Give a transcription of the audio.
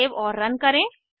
save और run करें